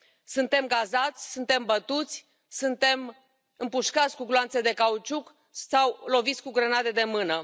Suntem gazați, suntem bătuți, suntem împușcați cu gloanțe de cauciuc sau loviți cu grenade de mână.